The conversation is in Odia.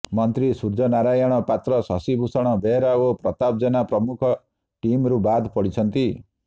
ମନ୍ତ୍ରୀ ସୂର୍ଯ୍ୟ ନାରାୟଣ ପାତ୍ର ଶଶିଭୂଷଣ ବେହେରା ଓ ପ୍ରତାପ ଜେନା ମୁଖପାତ୍ର ଟିମ୍ରୁ ବାଦ୍ ପଡିଛନ୍ତି